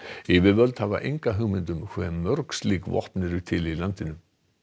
yfirvöld hafa enga hugmynd um hve mörg slík vopn eru til í landinu